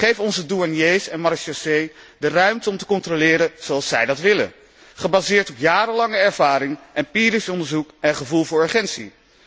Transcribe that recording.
Geef onze douaniers en marechaussees de ruimte om te controleren zoals zij dat willen, gebaseerd op jarenlange ervaring, empirisch onderzoek en gevoel voor urgentie.